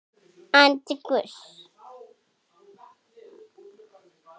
Andi Guðs.